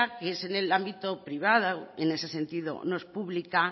que es en el ámbito privado en ese sentido no es pública